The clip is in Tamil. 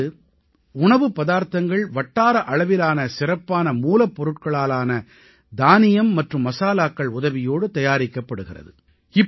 அதாவது உணவுப் பதார்த்தங்கள் வட்டார அளவிலான சிறப்பான மூலப்பொருட்களான தானியம் மற்றும் மசாலாக்கள் உதவியோடு தயாரிக்கப்படுகிறது